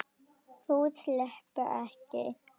Þú sleppur ekki!